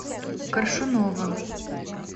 коршуновым